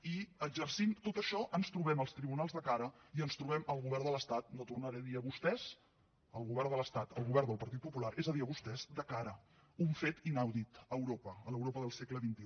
i exercint tot això ens trobem els tribunals de cara i ens trobem el govern de l’estat no tornaré a dir a vostès el govern del partit popular és a dir a vostès de cara un fet inaudit a europa a l’europa del segle xxi